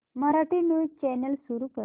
Marathi news channel सुरू कर